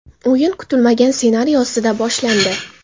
O‘yin kutilmagan ssenariy ostida boshlandi.